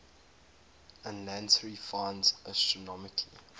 ulansey finds astronomical